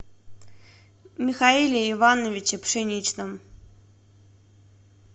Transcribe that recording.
михаиле ивановиче пшеничном